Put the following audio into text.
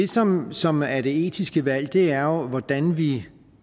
som som er det etiske valg er jo hvordan vi